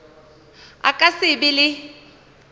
a ka se be le